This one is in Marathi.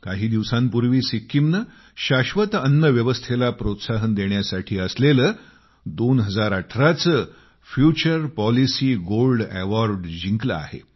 काही दिवसांपूर्वी सिक्कीमने शाश्वत अन्न व्यवस्थेला प्रोत्साहन देण्यासाठी असलेले 2018 चे फ्युचर पॉलिसी गोल्ड अवार्ड जिंकले आहे